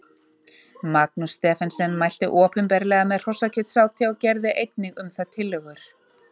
Magnús Stephensen mælti opinberlega með hrossakjötsáti og gerði einnig um það tillögur.